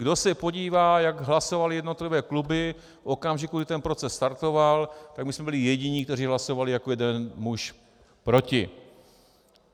Kdo se podívá, jak hlasovaly jednotlivé kluby v okamžiku, kdy ten proces startoval, tak my jsme byli jediní, kteří hlasovali jako jeden muž proti.